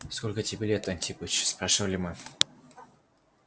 сколько тебе лет антипыч спрашивали мы